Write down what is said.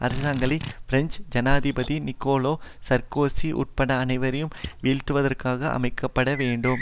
அரசாங்கங்கள் பிரெஞ்சு ஜனாதிபதி Nicolas Sarkozy உட்பட அனைவரையும் வீழ்த்துவதற்காக அமைக்க பட வேண்டும்